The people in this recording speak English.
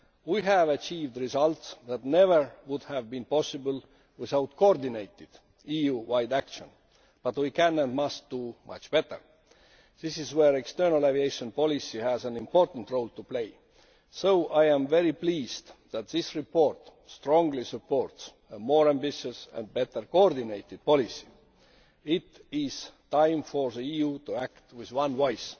We have achieved results that never would have been possible without coordinated EU wide action. But we can, and must, do much better. This is where the external aviation policy has an important role to play. So I am very pleased that this report strongly supports a more ambitious and better coordinated policy. It is time for the EU to act with one voice.